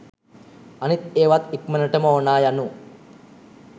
අනිත් ඒවත් ඉක්මනටම ඕනා යනු